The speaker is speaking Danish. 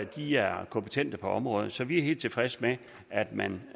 de er kompetente på området så vi er helt tilfredse med at man